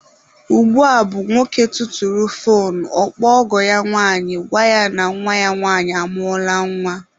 Ugbua bụ nwoke tụtụrụ foonu, ọ kpọọ ọgọ ya nwanyị, gwa ya na nwa ya nwanyị amụọla nwa.